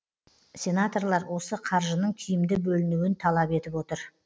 сенаторлар осы қаржының тиімді бөлінуін талап етіп отыр